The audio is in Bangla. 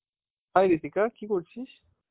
hi রিতিকা, কি করছিস?